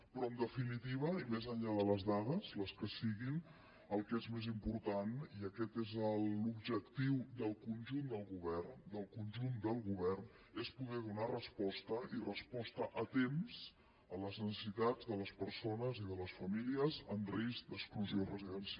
però en definitiva i més enllà de les dades les que siguin el que és més important i aquest és l’objectiu del conjunt del govern del conjunt del govern és poder donar resposta i resposta a temps a les necessitats de les persones i de les famílies en risc d’exclusió residencial